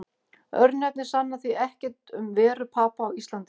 Örnefni sanna því ekkert um veru Papa á Íslandi.